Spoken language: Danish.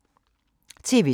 TV 2